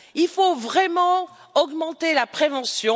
Il faut vraiment augmenter la prévention.